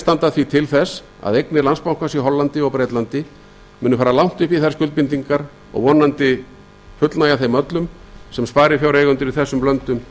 standa því til þess að eignir landsbankans í hollandi og bretlandi muni fara langt upp í þær skuldbindingar sem sparifjáreigendur í þessum löndum